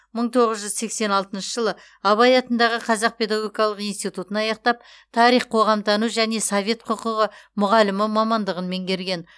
мың тоғыз жүз сексен алтыншы жылы абай атындағы қазақ педагогикалық институтын аяқтап тарих қоғамтану және совет құқығы мұғалімі мамандығын меңгерген